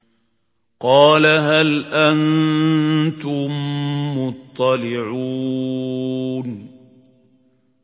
قَالَ هَلْ أَنتُم مُّطَّلِعُونَ